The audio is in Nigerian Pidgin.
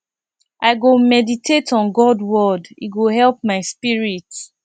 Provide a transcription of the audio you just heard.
i go meditate on god word e go help my spirit